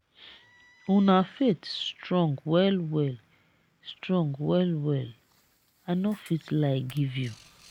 una faith strong well well strong well well i no fit lie give you.